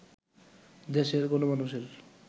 দেশের গণমানুষের